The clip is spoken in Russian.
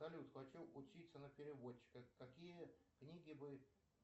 салют хочу учиться на переводчика какие книги бы